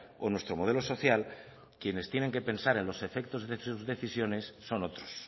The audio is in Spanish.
o nuestro modelo social quienes tienen que pensar en los efectos de sus decisiones son otros